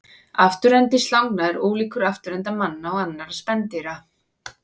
Afturendi slanga er ólíkur afturenda manna og annarra spendýra.